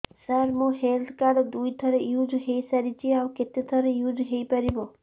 ସାର ମୋ health card ଦୁଇ ଥର ୟୁଜ଼ ହୈ ସାରିଛି ଆଉ କେତେ ଥର ୟୁଜ଼ ହୈ ପାରିବ